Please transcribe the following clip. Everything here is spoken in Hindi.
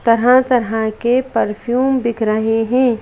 कहां कहां के परफ्यूम बिक रहें हैं।